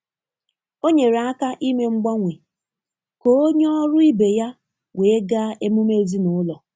O nyere aka ime mgbanwe ka onye ọrụ ibe ya wee gaa emume ezinụlọ.